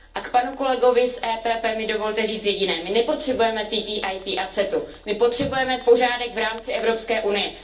A k panu kolegovi z PPE mi dovolte říct jediné my nepotřebujeme TTIP a CETA, my potřebujeme pořádek v rámci Evropské unie.